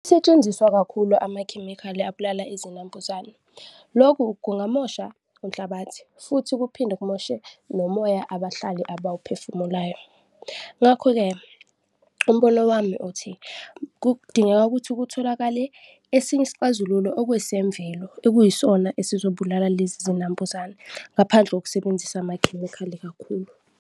Setshenziswa kakhulu amakhemikhali abulala izinambuzane, loku kungamosha unhlabathi futhi kuphinde kumoshe nomoya abahlali abawuphefumulayo. Ngakho-ke, umbono wami uthi kudingeka ukuthi kutholakale esinye isixazululo okuesemvelo, ekuyisona esizobulala lezi zinambuzane ngaphandle kokusebenzisa amakhemikhali kakhulu.